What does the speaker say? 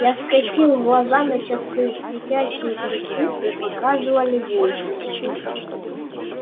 я скосил глаза на часы светящиеся цифры показывали восемь